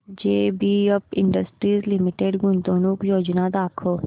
JBF industries limited गुंतवणूक योजना दाखव